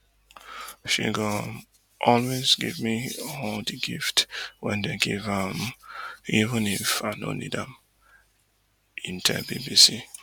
she go um always give me all di gift wen dem give her um even if i no need am hin tell bbc